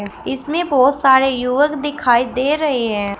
इसमें बहुत सारे युवक दिखाई दे रहे हैं।